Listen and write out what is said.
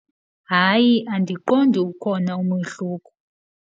Hayi andiqondi ukhona umohluko.